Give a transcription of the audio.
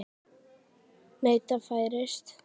Og neyta færis.